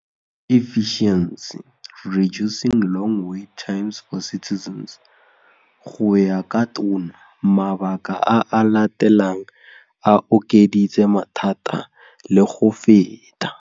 Go ya ka Tona, mabaka a a latelang a okeditse mathata le go feta.